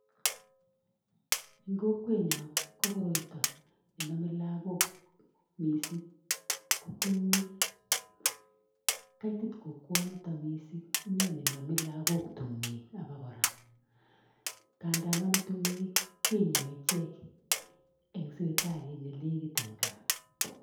Eng kokwenyo ko koroito ne namei lagok missing ko tukwek. Kaitit kokwenito missing ine nenamei lagok tukwek abo kora. Ngada nomei tukwek kenyoi ichek eng sipitalit ne nekit eng gaa.